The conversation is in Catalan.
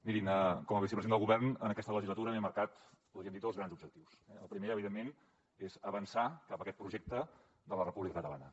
mirin com a vicepresident del govern en aquesta legislatura m’he marcat podríem dir dos grans objectius eh el primer evidentment és avançar cap a aquest projecte de la república catalana